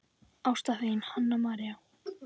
Ást, þín, Hanna María.